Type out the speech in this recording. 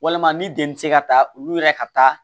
Walima ni jeli ti se ka taa olu yɛrɛ ka taa